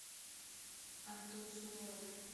антон суворов